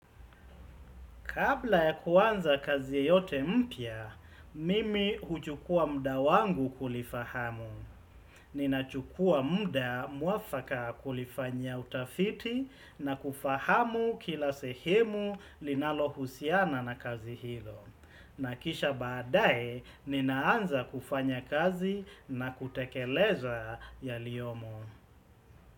Kabla ya kuanza kazi yoyote mpya, mimi huchukua muda wangu kulifahamu. Ninachukua muda mwafaka kulifanya utafiti, na kufahamu kila sehemu linalohusiana na kazi hilo. Na kisha baadaye, ninaanza kufanya kazi na kutekeleza yaliyomo.